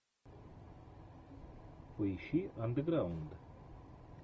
поищи андеграунд